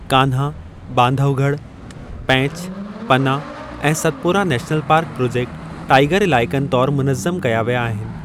कान्हा, बांधवॻढ़, पैंचु, पना, ऐं Satpura national park project tiger इलाइक़नि तौरु मुनज़्ज़म कया विया आहिनि।